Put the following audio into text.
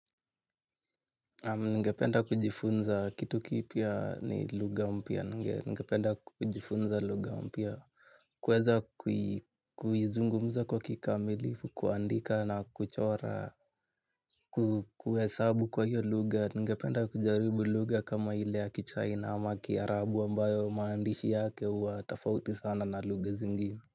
Ningependa kujifunza kitu kipya ni lugha mpya ningependa kujifunza lugha mpya. Kuweza kuizungumza kwa kikamilifu kuandika na kuchora kuhesabu kwa hiyo lugha ningependa kujaribu lugha kama ile ya kichina ama kiarabu ambayo maandishi yake huwa tofauti sana na lugha zinginie.